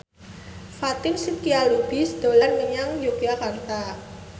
Fatin Shidqia Lubis dolan menyang Yogyakarta